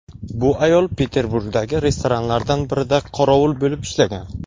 Bu ayol Peterburgdagi restoranlardan birida qorovul bo‘lib ishlagan.